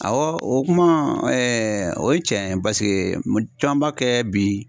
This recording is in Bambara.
Awɔ o kuma o ye cɛn ye baseke caman b'a kɛ bi